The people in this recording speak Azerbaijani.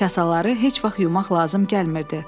Kasaları heç vaxt yumaq lazım gəlmirdi.